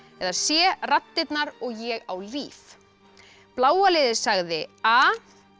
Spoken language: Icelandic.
eða c raddirnar og ég á líf bláa liðið sagði a